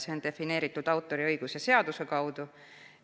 See on defineeritud autoriõiguse seaduse kaudu.